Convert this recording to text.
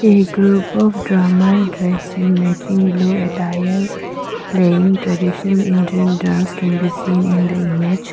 a group of drummer dressing matching blue attire playing traditional indian dance can be seen in the image.